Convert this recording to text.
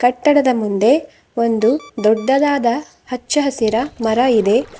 ಕಟ್ಟಡದ ಮುಂದೆ ಒಂದು ದೊಡ್ಡದಾದ ಹಚ್ಚ ಹಸಿರ ಮರ ಇದೆ.